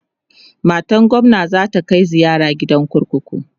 matan gwamna zata Kai ziyara gidan kurkuku